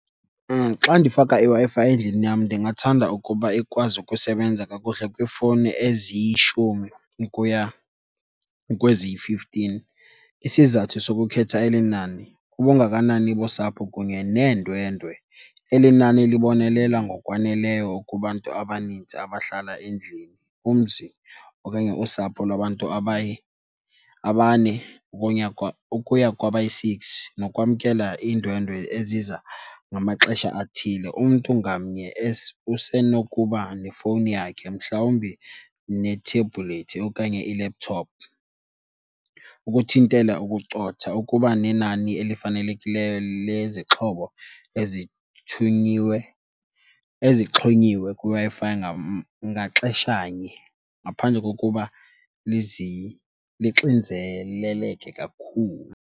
Xa ndifaka iWi-Fi endlini yam ndingathanda ukuba ikwazi ukusebenza kakuhle kwiifowuni eziyishumi ukuya kweziyi-fifteen. Isizathu sokukhetha eli nani ubungakanani bosapho kunye neendwendwe. Eli nani libonelela ngokwaneleyo kubantu abaninzi abahlala endlini, umzi okanye usapho lwabantu abane ukuya kwaba yi-six nokwamkela iindwendwe eziza ngamaxesha athile. Umntu ngamnye usenokuba nefowuni yakhe mhlawumbi nethebhulethi okanye i-laptop. Ukuthintela ukucotha ukuba nenani elifanelekileyo lezixhobo ezithunyiwe, ezixhonyiwe kwiWi-Fi ngaxeshanye ngaphandle kokuba lixinzeleleke kakhulu.